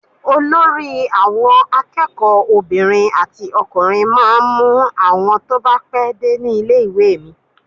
Olórí àwọn akẹ́kọ̀ọ́ obìnrin àti ọkùnrin máa ń mú àwọn tó bá pé dé ní ilé-ìwé mi.